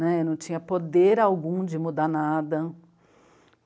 Né, não tinha poder algum de mudar nada.